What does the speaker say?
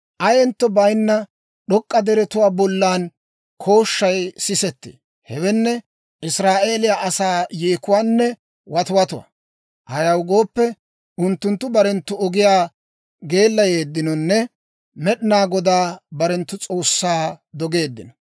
Ayentto bayinna d'ok'k'a deretuwaa bollan kooshshay sisettee; hewenne, Israa'eeliyaa asaa yeekuwaanne watiwatuwaa. Ayaw gooppe, unttunttu barenttu ogiyaa geellayeedinonne Med'inaa Godaa barenttu S'oossaa dogeeddino.